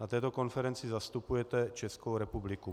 Na této konferenci zastupujete Českou republiku.